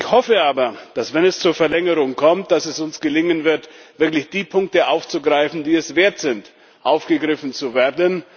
Ich hoffe aber, dass, wenn es zur Verlängerung kommt, es uns gelingen wird, wirklich die Punkte aufzugreifen, die es wert sind, aufgegriffen zu werden.